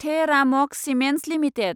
the Ramco cements limited